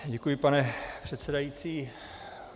Děkuji, pane předsedající.